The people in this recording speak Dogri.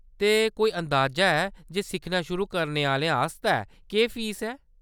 ते कोई अंदाजा है जे सिक्खना शुरू करने आह्‌लें आस्तै केह्‌‌ फीस ऐ ?